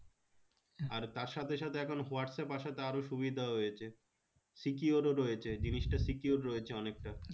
আর তার সাথে সাথে এখন হোয়াটস্যাপ আসাতে আরও সুবিধা হয়েছে secure ও রয়েছে জিনিসটা secure রয়েছে অনেকটা